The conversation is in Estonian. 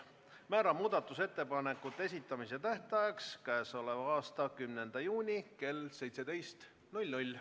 Määran muudatusettepanekute esitamise tähtajaks k.a 10. juuni kell 17.